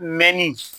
Mɛ ni